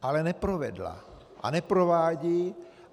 Ale neprovedla a neprovádí.